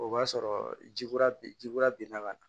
O b'a sɔrɔ ji kura b ji kura binna ka na